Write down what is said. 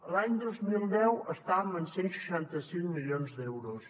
l’any dos mil deu estàvem en cent i seixanta cinc milions d’euros